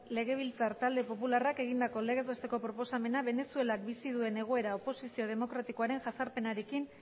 legebiltzar talde popularrak egindako legez besteko proposamena venezuelak bizi duen egoera oposizio demokratikoaren jazarpenarekin